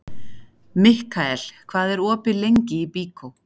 Mikkael, hvað er opið lengi í Byko?